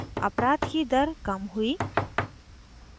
अपराध की दर कम हुई